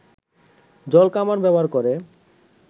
জলকামান ব্যবহার করে